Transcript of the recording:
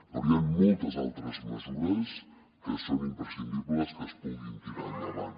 però hi han moltes altres mesures que és imprescindible que es puguin tirar endavant